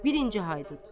Birinci Haydut.